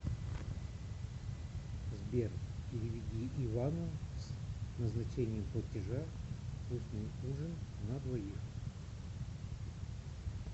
сбер переведи ивану с назначением платежа вкусный ужин на двоих